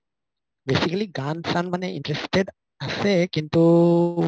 basically গান চান মানে interested আছে কিন্তু